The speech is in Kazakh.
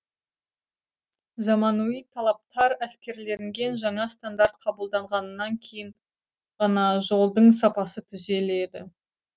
заманауи талаптар әскерілінген жаңа стандарт қабылданғаннан кейін ғана жолдың сапасы түзеледі